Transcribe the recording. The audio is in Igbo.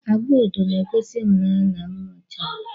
Agwa odo na egosi ihụnaya na anwụ ichawa.